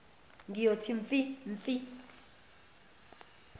ngiyothi mfi mfi